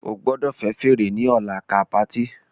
O gbọdọ fẹ fèrè ni ọla ká party!